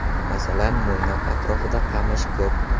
Masalan, Mo‘ynoq atrofida qamish ko‘p.